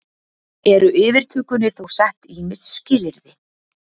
Eru yfirtökunni þó sett ýmis skilyrði